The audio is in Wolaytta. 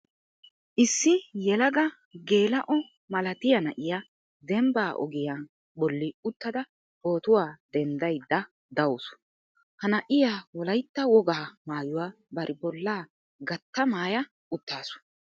Issi yelaga geela'o malatiya na'iua denbba ogiya bolli uttada pootuwa denddaydda dawusu. Ha na'iua Wolaytta wogaa maayuwa bari bollaa gatta maaya uttaasu.